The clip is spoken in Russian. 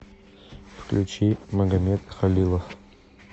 включи магамед халилов